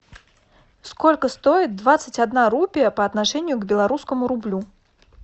сколько стоит двадцать одна рупия по отношению к белорусскому рублю